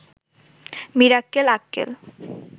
Mirakkel Akkel